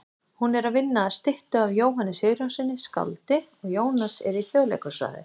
Hún er að vinna að styttu af Jóhanni Sigurjónssyni skáldi og Jónas er í Þjóðleikhúsráði.